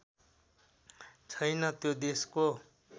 छैन त्यो देशको